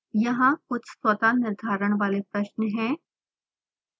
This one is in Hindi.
यहाँ कुछ स्वतः निर्धारण वाले प्रश्न हैं